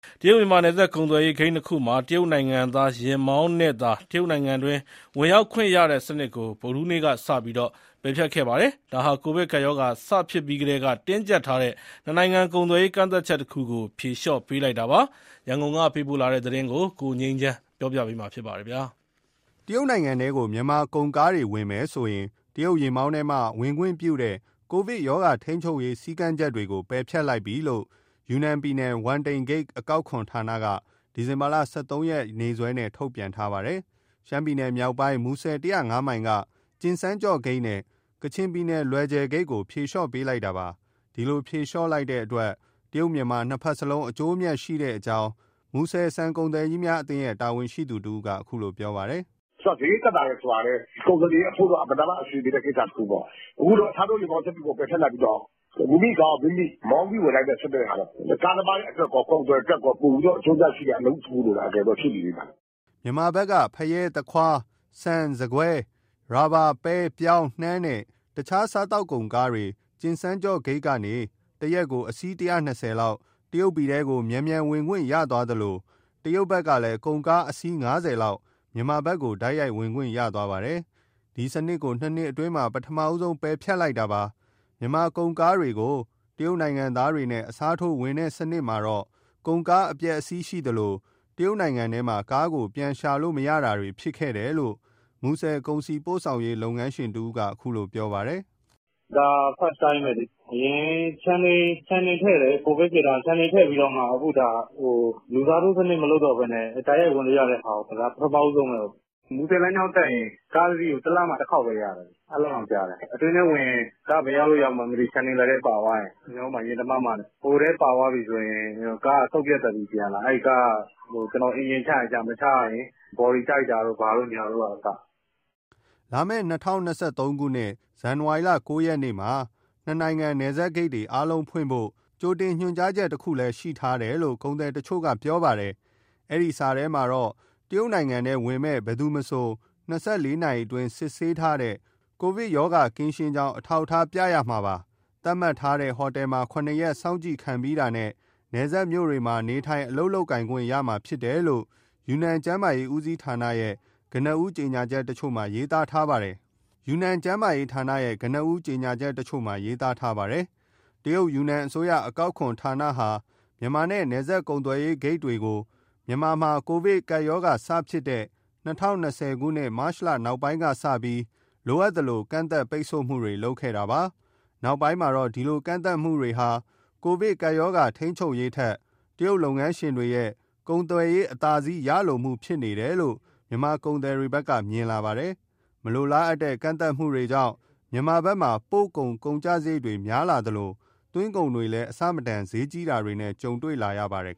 တရုတ်-မြန်မာ နယ်စပ်ကုန်သွယ်ရေး ဂိတ် ၂ ခုမှာ တရုတ်နိုင်ငံသားယာဉ်မောင်းနဲ့သာ တရုတ်နိုင်ငံတွင်း ဝင်ရောက်ခွင့်ရတဲ့စနစ်ကို ဗုဒ္ဓဟူးနေ့ကစပြီး ပယ်ဖျက်ခဲ့ပါတယ်။ ဒါဟာ ကိုဗစ်ကပ်ရောဂါ စဖြစ်ပြီးကတည်းက တင်းကျပ်ထားတဲ့ နှစ်နိုင်ငံကုန်သွယ်ရေး ကန့်သတ်ချက်တခုကို ဖြေလျှော့ပေးလိုက်တာပါ။ ရန်ကုန်ကပေးပို့တဲ့သတင်းကို ကိုငြိမ်းချမ်းက တင်ပြပေးထားပါတယ်။ တရုတ်နိုင်ငံထဲကို မြန်မာကုန်ကားတွေဝင်မယ်ဆိုရင် တရုတ်ယာဉ်မောင်းနဲ့မှ မောင်းဝင်ခွင့်ပြုတဲ့ ကိုဗစ်ရောဂါထိန်းချုပ်ရေး စည်းကမ်းချက်တွေကို ပယ်ဖျက်လိုက်ပြီဖြစ်ကြောင်း ယူနန်ပြည်နယ်၊ ဝမ်တိန်ဂိတ် အကောက်ခွန်ဌာနက ဒီဇင်ဘာလ ၁၃ ရက်နေ့စွဲနဲ့ ထုတ်ပြန်ထားပါတယ်။ ရှမ်းပြည်နယ်မြောက်ပိုင်း၊ မူဆယ် ၁၀၅ မိုင်က ကျင်စန်းကျော့ဂိတ်နဲ့ ကချင်ပြည်နယ် လွယ်ဂျယ်ဂိတ်ကို ဖြေလျှော့ပေးလိုက်တာပါ။ ဒီလို ဖြေလျှော့လိုက်တဲ့အတွက် တရုတ်-မြန်မာ နှစ်ဘက်စလုံး အကျိုးအမြတ်ရှိကြောင်း မူဆယ်ဆန်ကုန်သည်အသင်းရဲ့ တာဝန်ရှိသူတဦးက အခုလိုပြောပါတယ်။ "စရိတ်သက်သာတယ် ဆိုတာကလည်း ကုန်သည်တွေအဖို့ အင်မတန်မှ အဆင်ပြေတဲ့ ကိစ္စတခုပေါ့။ အခုတော့ အစားထိုးယာဉ်မောင်းစနစ်ကို ပယ်ဖျက်လိုက်ပြီးတော့ မိမိကားကိုယ်မိမိ မောင်းပြီးဝင်နိုင်သည့်စနစ်ဟာ ကားသမားတွေအတွက်ရော ကုန်သည်အတွက်ရော ပိုပြီးအကျိုးအမြတ်ရှိတဲ့ အလုပ်လို့ ရှုမြင်ပါတယ်။" မြန်မာဘက်က ဖရဲ၊ သခွား၊ ဆန်၊ ဆန်ကွဲ၊ ရာဘာ၊ ပဲ၊ ပြောင်း၊ နှမ်းနဲ့ တခြားစားသောက်ကုန်ကားတွေ ကျင်စန်းကျော့ဂိတ်ကနေ တရက်ကို အစီး ၁၂၀ လောက် တရုတ်ပြည်ထဲကို မြန်မြန်ဝင်ခွင့်ရသွားသလို တရုတ်ဘက်ကလည် ကုန်ကား အစီး ၅၀ လောက် မြန်မာဘက်ကို တိုက်ရိုက်ဝင်ခွင့်ရသွားပါတယ်။ ဒီစနစ်ကို ၂ နှစ်အတွင်းမှာ ပထမဦးဆုံး ပယ်ဖျက်လိုက်တာပါ။ မြန်မာကုန်ကားကို တရုတ်နိုင်ငံသားနဲ့ အစားထိုးဝင်တဲ့စနစ်မှာတော့ ကုန်ကားအပျက်အစီးရှိသလို တရုတ်နိုင်ငံထဲမှာ ကားကို ပြန်ရှာလို့မရတာတွေ ဖြစ်ခဲ့တယ်လို့ မူဆယ် ကုန်စည်ပို့ဆောင်ရေး လုပ်ငန်းရှင်တဦးက အခုလိုပြောပါတယ်။ "ဒါ First time ပဲလေ။ အရင် ရှန်တိန်ထည့်တယ်။ ကိုဗစ်ဖြစ်တုန်းက။ ရှန်တိန်ထည့်ပြီး အခုဒါ လူစားထိုးစနစ် မလုပ်တော့ဘဲနဲ့ တိုက်ရိုက်ဝင်လို့ရတဲ့ဟာကို လုပ်လိုက်တာ ဒါပထမဦးဆုံးပဲ။ မူဆယ်လမ်းကြောင်းတက်ရင် ကားတစီးကို တလမှတခေါက်ပဲရတယ်။ အဲလောက်တောင်ကြတယ်။ အတွင်းထဲ ဝင်ရင် ကားဘယ်ရောက်လို့ ရောက်မှန်း မသိ၊ ရှန်တိန်လက်ထဲ ပါသွားရင်။ ကျနော်တို့မှာ ရင်တမမနဲ့။ ဟိုထဲပါသွားပြီဆိုရင် ကားကစုတ်ပြတ်သတ်ပြီး ပြန်လာတာ၊ ကားက အင်ဂျင်ချရင်ချ မချရရင် ဘော်ဒီတိုက်တာတို့က အစ။" လာမယ့် ၂၀၂၃ ဇန်နဝါရီလ ၉ ရက်မှာ နှစ်နိုင်ငံနယ်စပ်ဂိတ်တွေ အားလုံးဖွင့်ဖို့ ကြိုတင်ညွှန်ကြားချက်တခုလည်း ရှိထားတယ်လို့ ကုန်သည်တချို့က ပြောပါတယ်။ အဲဒီစာထဲမှာတော့ တရုတ်နိုင်ငံထဲ ဝင်မယ့်မည်သူမဆို ၂၄ နာရီအတွင်း စစ်ဆေးထားတဲ့ ကိုဗစ်ကင်းရှင်းကြောင်း အထောက်အထား ပါရမှာပါ။ သတ်မှတ်ထားတဲ့ ဟိုတယ်မှာ ၇ ရက် စောင့်ကြည့်ခံပြီးတာနဲ့ နယ်စပ်မြို့တွေမှာ နေထိုင်၊ အလုပ်လုပ်ခွင့်ရမှာ ဖြစ်တယ်လို့ ယူနန်ကျန်းမာရေးဌာနရဲ့ ကနဦး ကြေညာချက်တချို့မှာ ရေးသားထားပါတယ်။ တရုတ် ယူနန်အစိုးရ အကောက်ခွန်ဌာနဟာ မြန်မာနဲ့ နယ်စပ်ကုန်သွယ်ရေး ဂိတ်တွေကို မြန်မာမှာ ကိုဗစ်ရောဂါစဖြစ်တဲ့ ၂၀၂၀ မတ်လနောက်ပိုင်းကစပြီး လိုအပ်သလို ကန့်သတ်၊ ပိတ်ဆို့ခဲ့ပါတယ်။ နောက်ပိုင်းမှာတော့ ဒီလို ကန့်သတ်မှုတွေဟာ ကိုဗစ်ရောဂါထိန်းချုပ်ရေးထက် တရုတ်လုပ်ငန်းရှင်တွေရဲ့ ကုန်သွယ်ရေး အသာစီးရလိုမှုဖြစ်နေတယ်လို့ မြန်မာကုန်သည်တွေဘက်က မြင်လာပါတယ်။ မလိုလားတဲ့ကန့်သတ်မှုတွေကြောင့် မြန်မာဘက်မှာ ပို့ကုန် ကုန်ကျစရိတ်တွေ များလာသလို သွင်းကုန်တွေလည်း အဆမတန် ဈေးကြီးတာတွေနဲ့ ကြုံတွေ့လာရပါတယ်